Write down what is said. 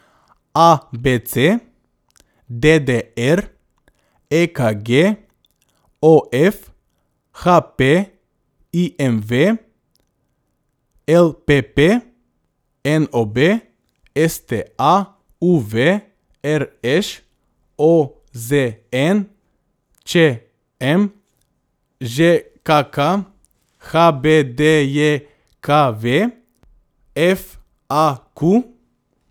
A B C; D D R; E K G; O F; H P; I M V; L P P; N O B; S T A; U V; R Š; O Z N; Č M; Ž K K; H B D J K V; F A Q.